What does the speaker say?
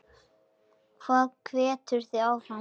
Hvað hvetur þig áfram?